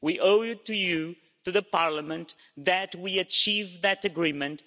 We owe it to you, to the Parliament, that we achieved that agreement